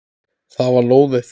Það var lóðið!